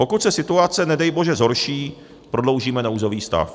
Pokud se situace, nedej bože, zhorší, prodloužíme nouzový stav.